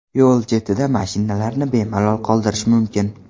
Yo‘l chetida mashinalarni bemalol qoldirish mumkin.